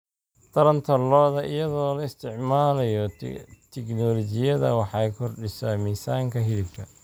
Taranta lo'da lo'da iyadoo la isticmaalayo tignoolajiyada waxay kordhisaa miisaanka hilibka.